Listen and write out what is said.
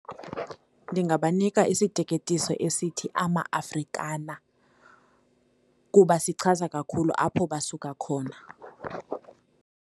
Ndingabanika isiteketiso esithi Amafrikana kuba sichaza kakhulu apho basuka khona.